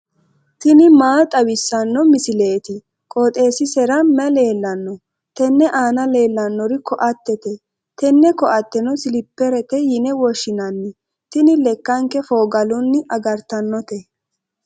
tini maa xawissanno misileeti? qooxeessisera may leellanno? tenne aana leellannori koattete. tenne koatteno siliperete yine woshshinanni tini lekkanke fooggalunni agartannote.